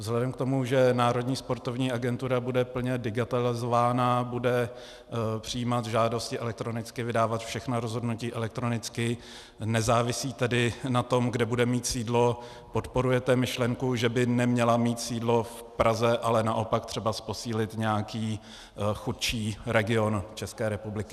Vzhledem k tomu, že Národní sportovní agentura bude plně digitalizována, bude přijímat žádosti elektronicky, vydávat všechna rozhodnutí elektronicky, nezávisí tedy na tom, kde bude mít sídlo - podporujete myšlenku, že by neměla mít sídlo v Praze, ale naopak třeba posílit nějaký chudší region České republiky?